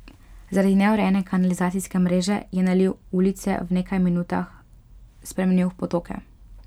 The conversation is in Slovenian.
Zaradi neurejene kanalizacijske mreže je naliv ulice v nekaj minutah spremenil v potoke.